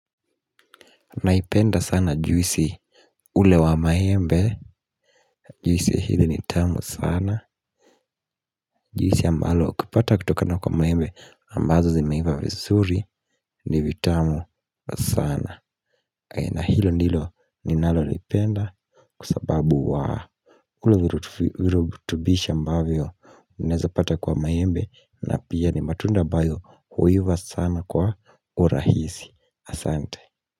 Naipenda sana juisi ule wa maembe juisi hili ni tamu sana. Juisi ambalo kupata kutokana kwa maembe ambazo zimeiva visuri ni vitamu sana. Na hilo ndilo ninalo lipenda kua sababu wa ule virutubisha ambavyo neza pata kwa maembe na pia ni matunda ambayo huiva sana kwa urahisi asante.